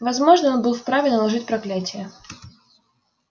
возможно он был вправе наложить проклятие